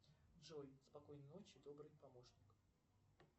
джой спокойной ночи добрый помощник